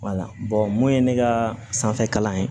mun ye ne ka sanfɛ kalan ye